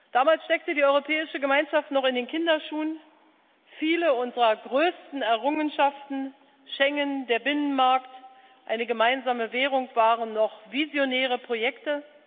Damals steckte die Europäische Gemeinschaft noch in den Kinderschuhen. Viele unserer größten Errungenschaften Schengen, der Binnenmarkt, eine gemeinsame Währung waren noch visionäre Projekte.